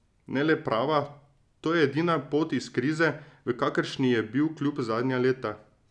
Ne le prava, to je edina pot iz krize, v kakršni je bil klub zadnja leta.